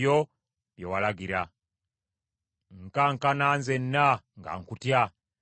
Nkankana nzenna nga nkutya, era ntya amateeka go.